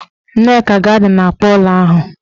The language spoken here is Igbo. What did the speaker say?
Nneka ga-ada n'akpoola ahụ.